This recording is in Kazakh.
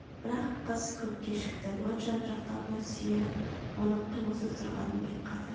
бірақ қыз көп кешікті лоджияның жақтауына сүйеніп оның қимылсыз тұрғанын байқады